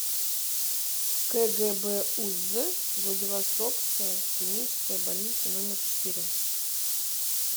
кгбуз владивостокская клиническая больница номер четыре